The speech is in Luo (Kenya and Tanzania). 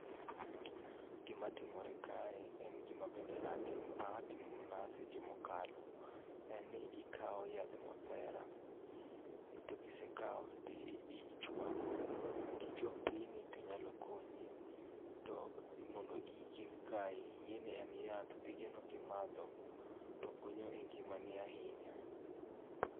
Gima timore kae en gima bende aah timo mana seche mokalo. En ni ikao yadh mabera to kisekao to ichwako kichwako gini to nyalo konyi to mond iyi kik kai, ingeni en yath, pigeno kimadho to konyo e ngimani ahinya